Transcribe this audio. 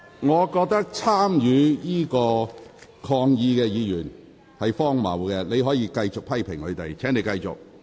我覺得參與抗議的議員是荒謬的，你可以繼續批評他們。